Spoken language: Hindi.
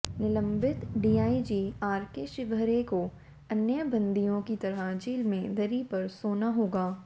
निलंबित डीआईजी आरके शिवहरे को अन्य बंदियों की तरह जेल में दरी पर सोना होगा